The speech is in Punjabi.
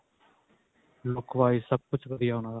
look wise ਸਭ ਕੁੱਝ ਵਧੀਆ ਓਹਨਾਂ ਦਾ